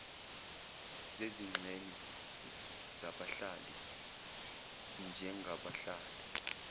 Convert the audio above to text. zezingxenye zabahlali njengabahlali